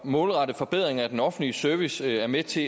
målrette forbedring af den offentlige service er med til